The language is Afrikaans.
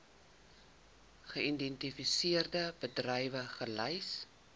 geïdentifiseerde bedrywe gelys